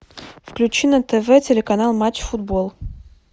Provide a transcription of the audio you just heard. включи на тв телеканал матч футбол